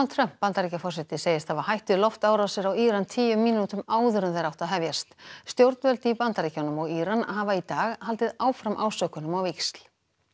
Trump Bandaríkjaforseti segist hafa hætt við loftrásir á Íran tíu mínútum áður en þær áttu að hefjast stjórnvöld í Bandaríkjunum og Íran hafa í dag haldið áfram ásökunum á víxl